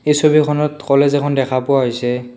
এই ছবিখনত কলেজ এখন দেখা পোৱা হৈছে।